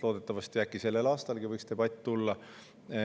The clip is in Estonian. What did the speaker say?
Loodetavasti sellel aastal võiks see debatt siia tulla.